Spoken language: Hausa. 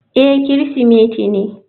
Eh Kirsimeti ne.